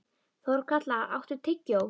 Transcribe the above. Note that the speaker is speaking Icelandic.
Þorkatla, áttu tyggjó?